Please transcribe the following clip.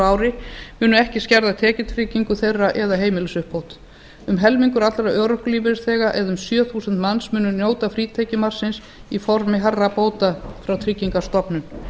ári munu ekki skerða tekjutryggingu þeirra eða heimilisuppbót um helmingur allra örorkulífeyrisþega eða um sjö þúsund manns munu njóta frítekjumarksins í formi hærri bóta frá tryggingastofnun